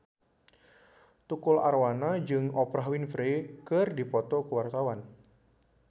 Tukul Arwana jeung Oprah Winfrey keur dipoto ku wartawan